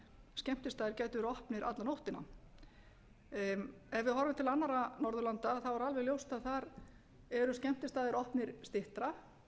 skemmtistaðir gætu verið opnir alla nóttina ef við horfum til annarra norðurlanda er alveg ljóst að þar eru skemmtistaðir opnir skemur